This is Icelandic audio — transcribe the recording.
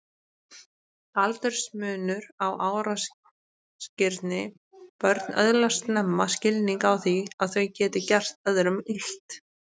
Aldursmunur á árásargirni Börn öðlast snemma skilning á því að þau geti gert öðrum illt.